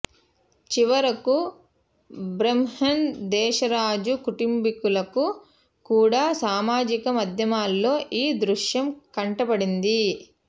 చివరకు బహ్రెన్ దేశరాజు కుటుంబీకులకు కూడా సామాజిక మాధ్యమాల్లో ఈ దృశ్యం కంటపడింది